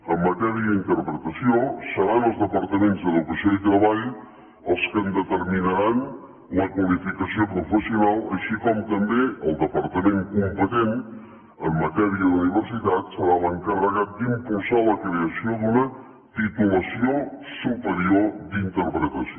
en matèria d’interpretació seran els departaments d’educació i treball els que en determinaran la qualificació professional així com també el departament competent en matèria d’universitats serà l’encarregat d’impulsar la creació d’una titulació superior d’interpretació